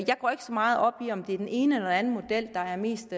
jeg går ikke så meget op i om det er den ene eller den anden model der er mest